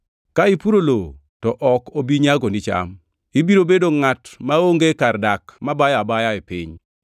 Ka ipuro lowo, to ok obi nyagoni cham. Ibiro bedo ngʼat maonge kar dak mabayo abaya e piny.”